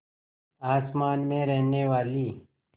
आसमान में रहने वाली